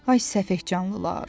Ay səfehcanlılar!